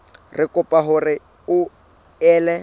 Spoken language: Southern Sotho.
re kopa hore o ele